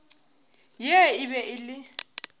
ye e be e le